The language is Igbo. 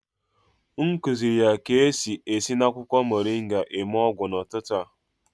M kuziri ya ka-esi esi na akwụkwọ moringa eme ọgwụ n'ụtụtụ a